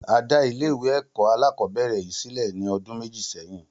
A dá ilé ìwé alákòóbèrè yìí sílè ní odún méjì séyìn